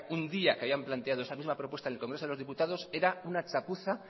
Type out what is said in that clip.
un día que habían planteado esta misma propuesta en el congreso de los diputados era una chapuza